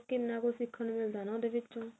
ਕਿੰਨਾ ਕੁਛ ਸਿੱਖਣ ਨੂੰ ਮਿਲਦਾ ਉਹਦੇ ਵਿਚੋਂ